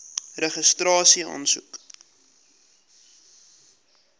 registrasieaansoek